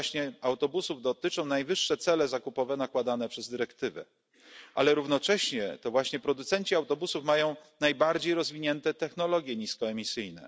I to właśnie autobusów dotyczą najwyższe cele zakupowe nakładane przez dyrektywę, ale równocześnie to właśnie producenci autobusów mają najbardziej rozwinięte technologie niskoemisyjne.